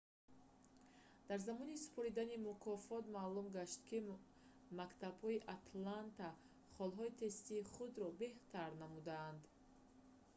дар замони супоридани мукофот маълум гашт ки мактабҳои атланта холҳои тестии худро беҳтар намуданд